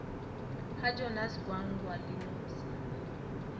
ga jonas gwangwa le nomsa